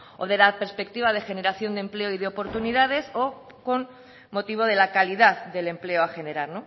o desde la perspectiva de generación de empleo y de oportunidades o con motivo de la calidad del empleo a generar